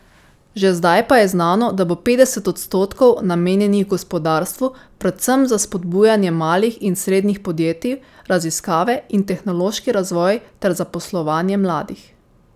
Že zdaj pa je znano, da bo petdeset odstotkov namenjenih gospodarstvu, predvsem za spodbujanje malih in srednjih podjetij, raziskave in tehnološki razvoj ter zaposlovanje mladih.